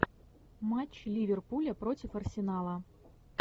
матч ливерпуля против арсенала